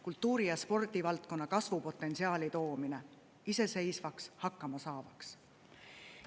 Kultuuri‑ ja spordivaldkonda kasvupotentsiaali toomine, iseseisvaks, hakkama saavaks.